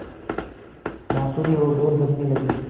बाँसुरी और ढ़ोल बजने लगे